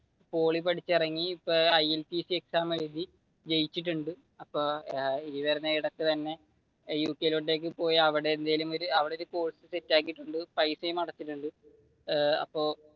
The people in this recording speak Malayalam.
പോളി പഠിച്ചിറങ്ങി ഇപ്പൊ ILTC എക്സാം എഴുതി ജയിച്ചിട്ടുണ്ട് അപ്പൊ ഈ വരുന്ന ഇടക്ക് തന്നെ യുകെയിലേക്ക് പോയി, അവിടെയെന്തെങ്കിലും അവിടെ ഒരു കോഴ്സ് സെറ്റാക്കിട്ടുണ്ട് പൈസയും അടച്ചിട്ടുണ്ട് ഏർ അപ്പൊ